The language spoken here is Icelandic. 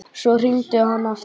Svo hringdi hann aftur.